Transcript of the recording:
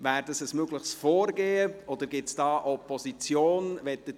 Wäre das ein mögliches Vorgehen, oder gibt es Opposition dagegen?